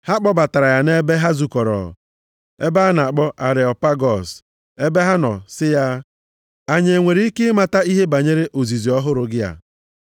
Ha kpọbatara ya nʼebe ha zukọrọ, ebe a na-akpọ Areopagọs, + 17:19 Maọbụ, Ugwu Maas ebe ha nọ sị ya, “Anyị enwere ike ịmata ihe banyere ozizi ọhụrụ gị a?